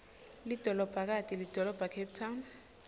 lidolobhakati lidolobhacape town